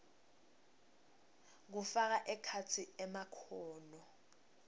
kufaka ekhatsi emakhono